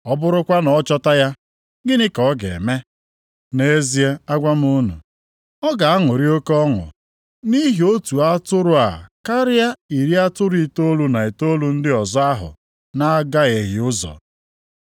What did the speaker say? Ọ bụrụkwa na ọ chọta ya, gịnị ka ọ ga-eme? Nʼezie, agwa m unu, ọ ga-aṅụrị oke ọnụ nʼihi otu atụrụ a karịa iri atụrụ itoolu na itoolu ndị ọzọ ahụ na-agahieghị ụzọ.